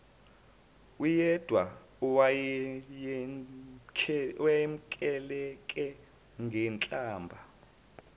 uyedwa owayemkhwelele ngenhlamba